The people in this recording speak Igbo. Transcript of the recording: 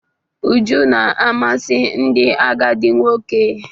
Uju na-amasị ndị agadi nwoke.